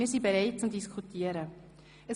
Wir sind zum Diskutieren bereit.